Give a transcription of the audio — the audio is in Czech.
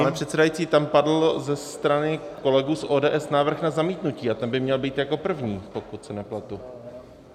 Pane předsedající, tam padl ze strany kolegů z ODS návrh na zamítnutí a ten by měl být jako první, pokud se nepletu.